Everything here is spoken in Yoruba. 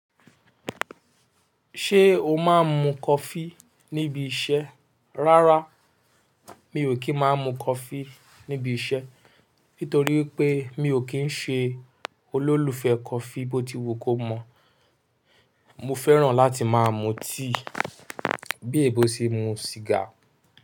Ṣé o máa ń mu coffee níbi iṣẹ́? Rárá, mi ò kí ń máa mu coffee níbi iṣẹ́ nítorí wi pé mi ò kí ń ṣe olólùfẹ́ coffee bótí wù kó mọ̀. Mo fẹ́ràn láti máa mu tíì bí ẹ́ebó ṣe n mu sìgá.